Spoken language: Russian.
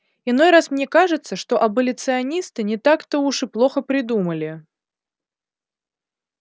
иной раз мне кажется что аболиционисты не так-то уж и плохо придумали